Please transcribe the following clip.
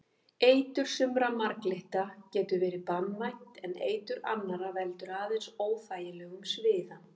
Eitur sumra marglytta getur verið banvænt en eitur annarra veldur aðeins óþægilegum sviða.